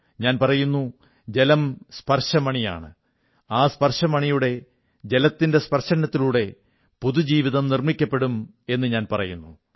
ഞാൻ പറയുന്നു ജലം സ്പർശമണിയാണ് ആ സ്പർശമണിയുടെ ജലത്തിന്റെ സ്പർശനത്തിലൂടെ പുതുജീവിതം നിർമ്മിക്കപ്പെടും എന്നു ഞാൻ പറയുനുന്നു